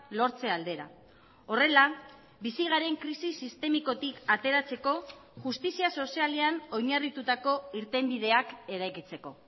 lortze aldera horrela bizi garen krisi sistemikotik ateratzeko justizia sozialean oinarritutako irtenbideak eraikitzeko